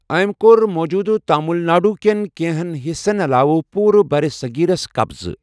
ٲمۍ کوٚر موٗجوٗدٕ تامل ناڈو کٮ۪ن کینٛہن حصن علاوٕ پورٕ برصغیرس قبضہٕ۔